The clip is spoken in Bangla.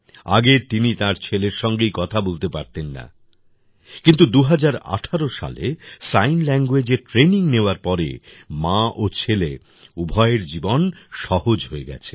আগে তিনি তার ছেলের সঙ্গেই কথা বলতে পারতেন না কিন্তু ২০১৮ সালে সাইন languageএর ট্র্যানিং নেওয়ার পরে মা ও ছেলে উভয়ের জীবন সহজ হয়ে গেছে